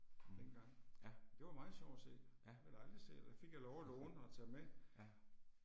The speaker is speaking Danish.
Mh, ja. Ja. Ja